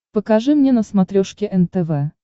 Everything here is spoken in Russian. покажи мне на смотрешке нтв